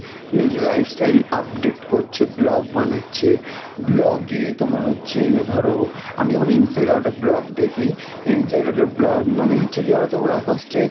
নিজের lifestyle update করছে blog বানাচ্ছে, blog এ তোমার হচ্ছে ধরো আমি যেমন inside out এর blog দেখি inside out এর blog মানে হচ্ছে কি বলতো? ওরা first এ